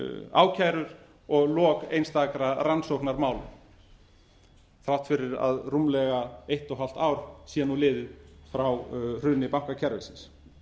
ákærur og lok einstakra rannsóknarmála þrátt fyrir að rúmlega eitt og hálft ár sé nú liðið frá hruni bankakerfisins